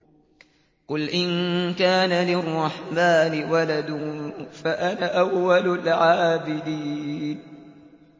قُلْ إِن كَانَ لِلرَّحْمَٰنِ وَلَدٌ فَأَنَا أَوَّلُ الْعَابِدِينَ